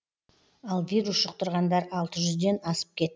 ал вирус жұқтырғандар алты жүзден асып кет